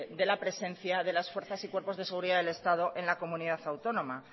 de la presencia de las fuerzas y cuerpos de seguridad del estado en la comunidad autónoma